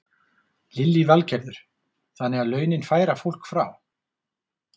Lillý Valgerður: Þannig að launin færa fólk frá?